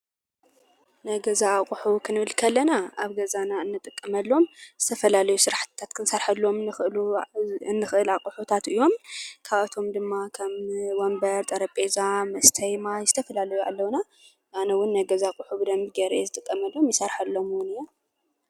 ናይ ገዛ ኣቕሑ ክንብል ከለና ኣብ ገዛና እንጥቀመሎም ዝተፈላለዩ ስራሕትታት ክንሰርሐሎም ክንኽእሉ እንኽእል ኣቕሑታት እዮም፡፡ ካብኣቶም ድማ ከም ወንበር፣ ጠረጴዛ፣ መስተይ ማይ ዝተፈላለዩ ኣለውና፡፡ ኣነ ውን ናይ ገዛ ኣቕሑ ብደንቢ ገይረ እየ ዝጥቀመሎም ።ይሰርሐሎም ውን እየ፡፡